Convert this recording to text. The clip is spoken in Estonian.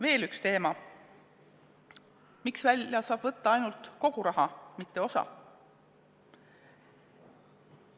Veel üks teema: miks saab välja võtta ainult kogu raha korraga, mitte osa sellest?